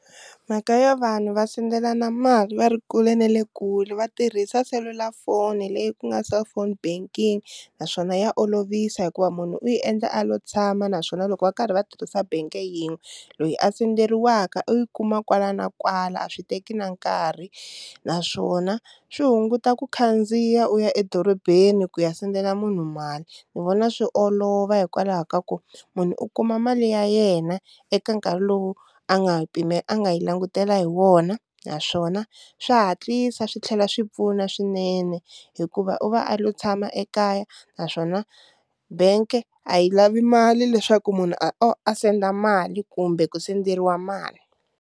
Mhaka yo vanhu va sendelana mali va ri kule na le kule va tirhisa selulafoni leyi ku nga cellphone banking naswona ya olovisa hikuva munhu u yi endla a lo tshama, naswona loko va karhi va tirhisa bank-e yin'we loyi a senderiwaka u yi kuma kwala na kwala a swi teki na nkarhi naswona swi hunguta ku khandziya u ya edorobeni ku ya sendela munhu mali, ni vona swi olova hikwalaho ka ku munhu u kuma mali ya yena eka nkarhi lowu a nga yi a nga yi langutela hi wona, naswona swa hatlisa swi tlhela swi pfuna swinene hikuva u va a lo tshama ekaya naswona bank-e a yi lavi mali leswaku munhu a senda mali kumbe ku senderiwa mali.